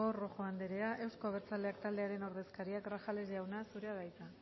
rojo anderea euzko abertzaleak taldearen ordezkaria grajales jauna zurea da hitza